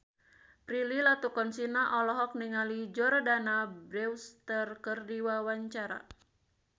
Prilly Latuconsina olohok ningali Jordana Brewster keur diwawancara